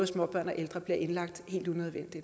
småbørn og ældre bliver indlagt